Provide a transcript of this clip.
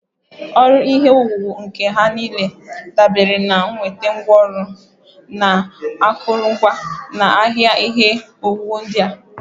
Ọrụ ihe owuwu nke nha niile dabere na nnweta ngwaọrụ na akụrụngwa na ahịa ihe owuwu ndị a